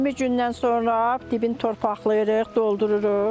20 gündən sonra dibin torpaqlayırıq, doldururuq.